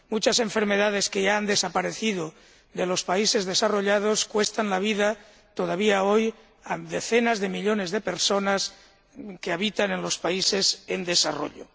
Muchas enfermedades que ya han desaparecido de los países desarrollados cuestan la vida, todavía hoy, a decenas de millones de personas que habitan en los países en desarrollo.